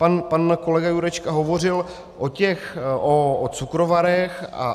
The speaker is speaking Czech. Pan kolega Jurečka hovořil o cukrovarech atd.